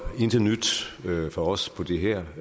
intet nyt fra os på det her